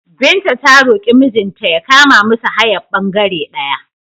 Binta ta roƙi mijinta ya kama musu hayar ɓangere ɗaya.